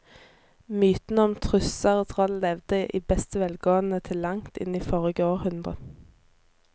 Mytene om tusser og troll levde i beste velgående til langt inn i forrige århundre.